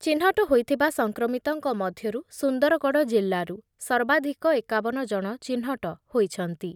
ଚିହ୍ନଟ ହୋଇଥିବା ସଂକ୍ରମିତଙ୍କ ମଧ୍ୟରୁ ସୁନ୍ଦରଗଡ଼ ଜିଲ୍ଲାରୁ ସର୍ବାଧିକ ଏକାବନ ଜଣ ଚିହ୍ନଟ ହୋଇଛନ୍ତି ।